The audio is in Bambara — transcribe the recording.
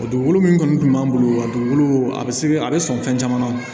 Dugukolo min kɔni tun b'an bolo wa dugukolo a bɛ se a bɛ sɔn fɛn caman na